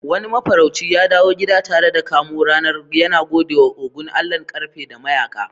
Wani mafarauci ya dawo gida tare da kamo ranar, yana gode wa Ogun, allahn ƙarfe da mayaka.